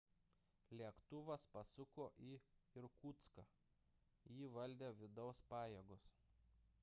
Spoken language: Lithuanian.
lėktuvas pasuko į irkutską jį valdė vidaus pajėgos